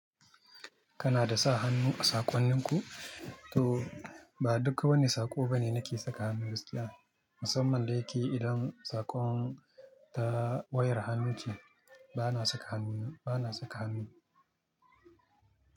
Kana da sa hannu a saƙonninku? To ba duka wani saƙo bane nake saka hannu gaskiya. Musamman da yake idan saƙon ta wayar hannu ce, bana saka hannu, bana saka hannu.